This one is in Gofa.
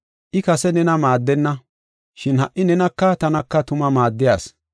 I kase nena maaddenna, shin ha77i nenaka tanaka tuma maaddiya asi.